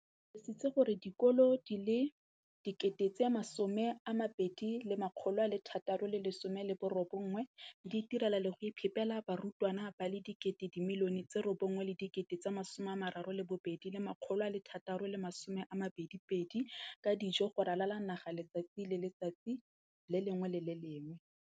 O tlhalositse gore dikolo di le 20 619 di itirela le go iphepela barutwana ba le 9 032 622 ka dijo go ralala naga letsatsi le lengwe le le lengwe.